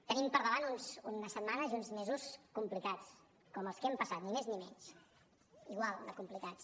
tenim per davant unes setmanes i uns mesos complicats com els que hem passat ni més ni menys igual de complicats